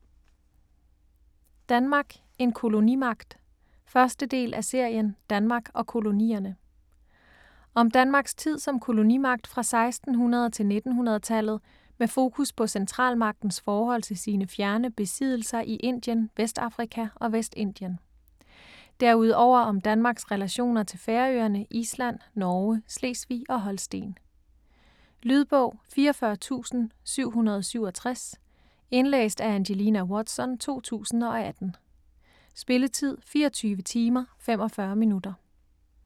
Danmark: en kolonimagt 1. del af serien Danmark og kolonierne. Om Danmarks tid som kolonimagt fra 1600 til 1900-tallet med fokus på centralmagtens forhold til sine fjerne besiddelser i Indien, Vestafrika og Vestindien. Derudover om Danmarks relationer til Færøerne, Island, Norge, Slesvig og Holsten. Lydbog 44767 Indlæst af Angelina Watson, 2018. Spilletid: 24 timer, 45 minutter.